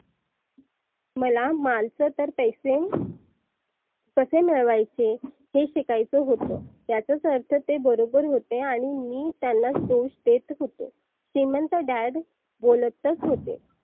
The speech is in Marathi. माला मालत तर तैसेन कसे मिळवायचे हे शिकायच होतं. याचाच अर्थ ते बरोबर होते आणि मीत्यांनाच दोष देत होतो. श्रिमंत Dad बोलतच होते.